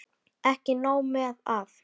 Ekki nóg með að